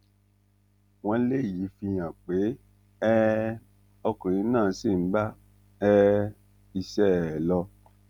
wọn léyìí fi hàn pé um ọkùnrin náà ṣì ń bá um iṣẹ ẹ lọ